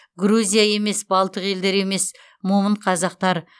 грузия емес балтық елдері емес момын қазақтар